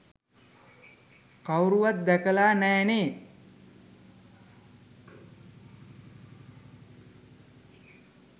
කවුරුවත් දැකලා නෑනේ.